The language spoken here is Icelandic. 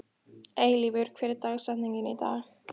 Eilífur, hver er dagsetningin í dag?